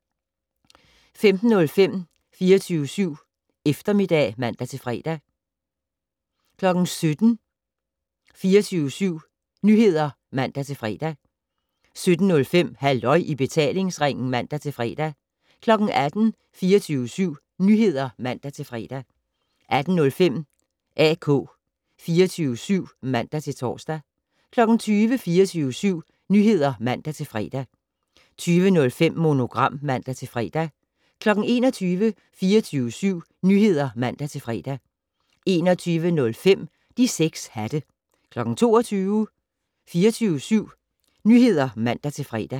15:05: 24syv Eftermiddag (man-fre) 17:00: 24syv Nyheder (man-fre) 17:05: Halløj i betalingsringen (man-fre) 18:00: 24syv Nyheder (man-fre) 18:05: AK 24syv (man-tor) 20:00: 24syv Nyheder (man-fre) 20:05: Monogram (man-fre) 21:00: 24syv Nyheder (man-fre) 21:05: De 6 hatte 22:00: 24syv Nyheder (man-fre)